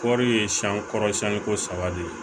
Kɔri ye siyɛn kɔrɔ siɲɛn ko saba de